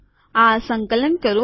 આ સંકલન કરું